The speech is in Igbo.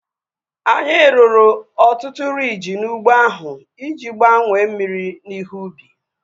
Anyị rụrụ ọtụtụ riiji n'ụgbọ ahu iji gbanye mmiri na ihe ubi